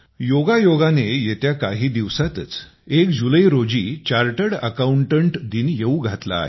योगायोगाने येत्या काही दिवसांतच चार्टर्ड अकाउंटंट दिन येऊ घातला आहे